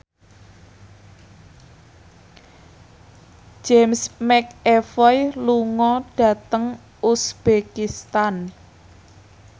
James McAvoy lunga dhateng uzbekistan